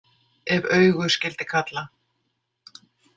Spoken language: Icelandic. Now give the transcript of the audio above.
Ef augu skyldi kalla.